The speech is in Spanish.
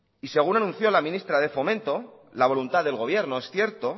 y según anunció la ministra de fomento la voluntad del gobierno es cierto